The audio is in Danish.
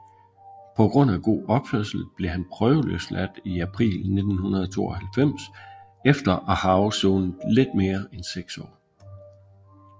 På grund af god opførsel blev han prøveløsladt i april 1992 efter at have afsonet lidt mere end seks år